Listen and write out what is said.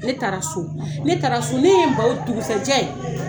Ne taara so, ne taara so, ne ye n ban o dugusajɛ.